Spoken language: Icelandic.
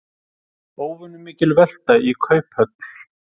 Óvenjumikil velta í Kauphöll